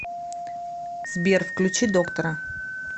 сбер включи доктора